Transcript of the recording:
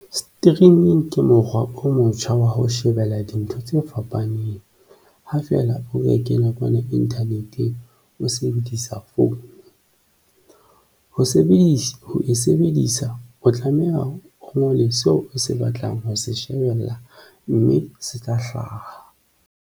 Streaming ke mokgwa o motjha wa ho shebella dintho tse fapaneng ha feela o beke nakwana Internet-eng o sebedisa founu ho sebedisa ho e sebedisa o tlameha o ngole seo o se batlang ho se shebella mme se tla hlaha.